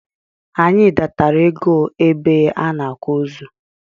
Anyị datara égo ebe a n'akwa ozu.